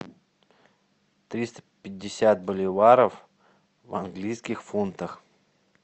триста пятьдесят боливаров в английских фунтах